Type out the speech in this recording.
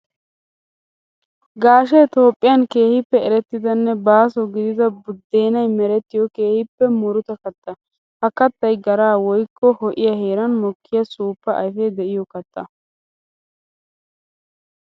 Gaashshee Toophphiyan keehippe erettidanne baaso gididda buddennay merettiyo keehippe murutta katta. Ha kattay gara woykko ho'iya heeran mokkiya suufa ayfe de'iyo katta.